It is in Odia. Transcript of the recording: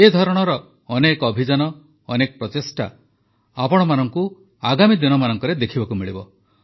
ଏହି ଧରଣର ଅନେକ ଅଭିଯାନ ଅନେକ ପ୍ରଚେଷ୍ଟା ଆପଣମାନଙ୍କୁ ଆଗାମୀ ଦିନମାନଙ୍କରେ ଦେଖିବାକୁ ମିଳିବ